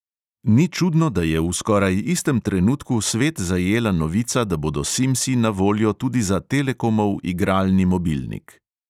Ni čudno, da je v skoraj istem trenutku svet zajela novica, da bodo simsi na voljo tudi za telekomov igralni mobilnik.